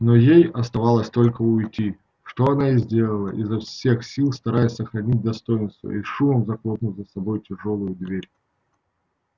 но ей оставалось только уйти что она и сделала изо всех сил стараясь сохранить достоинство и с шумом захлопнув за собой тяжёлую дверь